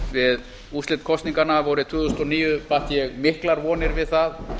við úrslit kosninganna vorið tvö þúsund og níu batt ég miklar vonir við það